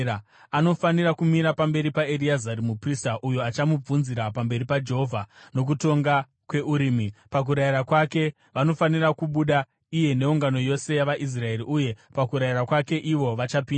Anofanira kumira pamberi paEreazari muprista, uyo achamubvunzira pamberi paJehovha nokutonga kweUrimi. Pakurayira kwake, vanofanira kubuda iye neungano yose yavaIsraeri uye pakurayira kwake ivo vachapinda.”